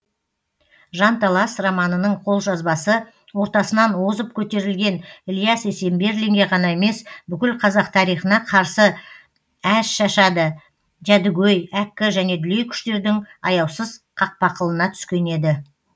жанталас романының қолжазбасы ортасынан озып көтерілген ілияс есенберлинге ғана емес бүкіл қазақ тарихына қарсы әшшады жәдігөй әккі және дүлей күштердің аяусыз қақпақылына түскен еді